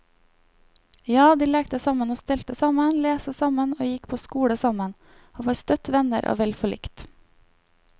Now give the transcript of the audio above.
Ja, de lekte sammen og stelte sammen, leste sammen og gikk på skole sammen, og var støtt venner og vel forlikt.